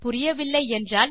புரியவில்லை என்றால்